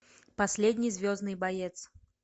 последний звездный боец